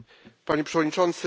Panie Przewodniczący!